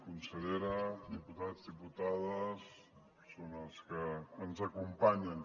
consellera diputats diputades persones que ens acompanyen